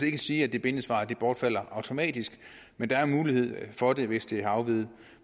ikke sige at det bindende svar bortfalder automatisk men der er en mulighed for det hvis det afviger